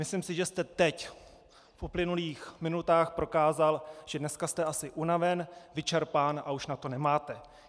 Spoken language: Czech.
Myslím si, že jste teď v uplynulých minutách prokázal, že dneska jste asi unaven, vyčerpán a už na to nemáte.